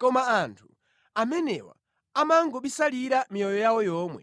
Koma anthu amenewa amangobisalira miyoyo yawo yomwe;